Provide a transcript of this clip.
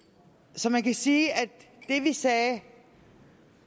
så man kan sige at det vi sagde